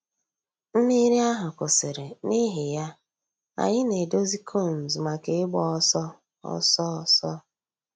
Mmírí àhụ̀ kwụsìrì, n'ìhì yà, ànyị̀ nà-èdòzì cones mǎká ị̀gba òsọ̀ òsọ̀ òsọ̀.